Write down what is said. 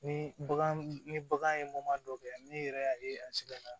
Ni bagan ni bagan ye dɔ kɛ n'i yɛrɛ y'a ye a siga